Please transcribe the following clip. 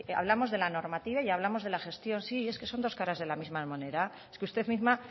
hablamos de la normativa y hablamos de la gestión sí es que son dos caras de la misma moneda es que usted misma